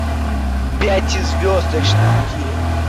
пятизвездочный день